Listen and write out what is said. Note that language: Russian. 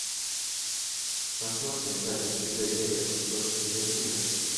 посмотрим запись игры эвертон против ливерпуля